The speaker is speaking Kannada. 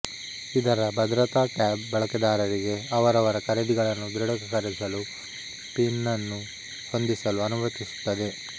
ಇದರ ಭದ್ರತಾ ಟ್ಯಾಬ್ ಬಳಕೆದಾರರಿಗೆ ಅವರವರ ಖರೀದಿಗಳನ್ನು ದೃಢೀಕರಿಸಲು ಪಿನನ್ನು ಹೊಂದಿಸಲು ಅನುಮತಿಸುತ್ತದೆ